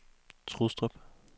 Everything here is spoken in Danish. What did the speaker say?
Trustrup